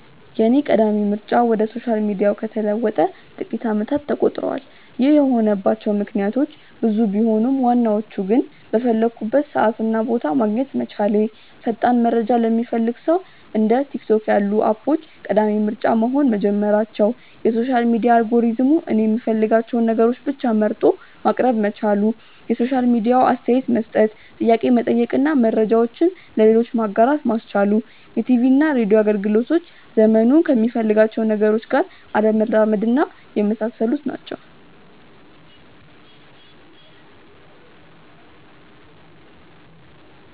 የኔ ቀዳሚ ምርጫ ወደ ሶሻል ሚዲያው ከተለወጠ ጥቂት አመታት ተቆጥረዋል። ይህ የሆነባቸው ምክንያቶች ብዙ ቢሆኑም ዋናዎቹ ግን:- በፈለኩበት ሰዓት እና ቦታ ማግኘት መቻሌ፣ ፈጣን መረጃ ለሚፈልግ ሰው እንደ ቲክቶክ ያሉ አፖች ቀዳሚ ምርጫ መሆን መጀመራቸው፣ የሶሻል ሚዲያ አልጎሪዝሙ እኔ የምፈልጋቸውን ነገሮች ብቻ መርጦ ማቅረብ መቻሉ፣ የሶሻል ሚዲያው አስተያየት መስጠት፣ ጥያቄ መጠየቅ እና መረጃውን ለሌሎች ማጋራት ማስቻሉ፣ የቲቪና ሬድዮ አገልግሎቶች ዘመኑ ከሚፈልጋቸው ነገሮች ጋር አለመራመድና የመሳሰሉት ናቸው።